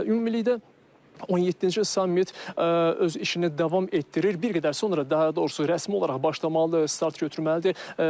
Ümumilikdə 17-ci sammit öz işini davam etdirir, bir qədər sonra daha doğrusu rəsmi olaraq başlamalıdır, start götürməlidir.